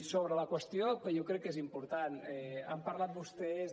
sobre la qüestió que jo crec que és important han parlat vostès